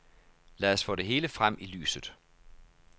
Lad os få det hele frem i lyset.